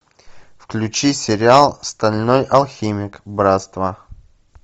включи сериал стальной алхимик братство